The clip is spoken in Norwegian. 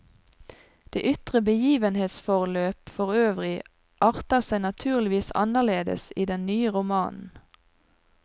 Det ytre begivenhetsforløp forøvrig arter seg naturligvis anderledes i den nye romanen.